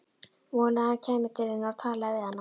Vonaði að hann kæmi til hennar og talaði við hana.